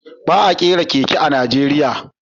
Ba a kera keke a Najeriya